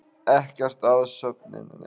Ekkert að söfnuninni